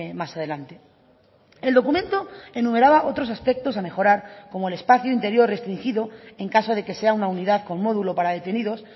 más adelante el documento enumeraba otros aspectos a mejorar como el espacio interior restringido en caso de que sea una unidad con módulo para detenidos